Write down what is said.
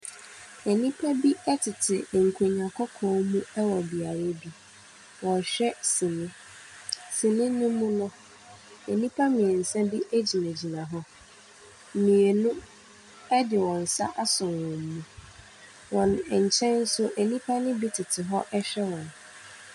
Nnipa bi tete nkonnwa kɔkɔɔ mu wɔ beaeɛ bi. Wɔrehwɛ sini. Sini no mu no nnipa mmeɛnsa bi gyinagyina hɔ. Mmienu de wɔn nsa asɔ wɔn mu. Wɔn nkyɛn so, nnipa no bi tete hɔ rehwɛ wɔn.